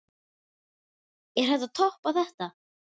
Er hægt að toppa þetta?